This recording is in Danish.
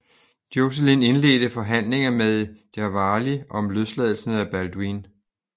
Joscelin indledte forhandlinger med Jawali om løsladelsen af Balduin